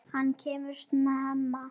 Hann kemur snemma.